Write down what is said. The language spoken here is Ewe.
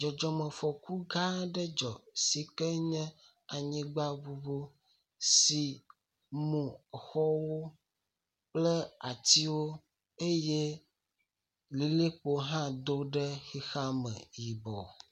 Dzɔdzɔmefɔku gã aɖe dzu si ke nye anyigbaŋuŋu si mu xɔwo kple atsiwo eye lilikpo hã do ɖe xexea me yibɔ.